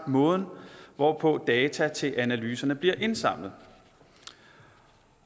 og måden hvorpå data til analyserne bliver indsamlet